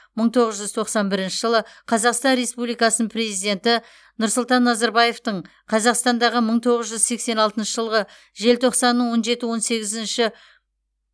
мың тоғыз жүз тоқсан бірінші жылы қазақстан республикасының президенті нұрсұлтан назарбаевтың қазақстандағы мың тоғыз жүз сексен алтыншы жылғы желтоқсанның он жеті он сегізіндегі